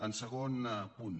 el segon punt